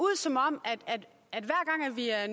er